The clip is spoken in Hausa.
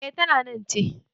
E, ta nan ce.